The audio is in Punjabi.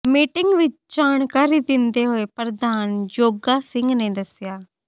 ਮੀਟਿੰਗ ਵਿਚ ਜਾਣਕਾਰੀ ਦਿੰਦੇ ਹੋਏ ਪ੍ਰਧਾਨ ਜੋਗਾ ਸਿੰਘ ਨੇ ਦੱਸਿਆ